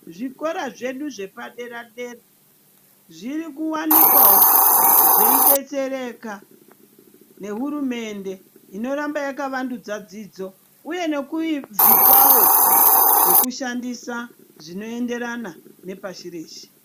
Zvikora zvedu zvepadera dera zviri kuwanikwawo zveidetsereka nehurumende inoramba yakavandudza dzidzo uye nekuizvipawo zvekushandisa zvinoenderana nepashi reshe.